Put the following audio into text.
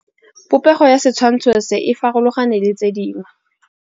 Popêgo ya setshwantshô se, e farologane le tse dingwe.